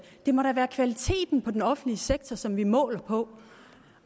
det må da være kvaliteten af den offentlige sektor som vi måler på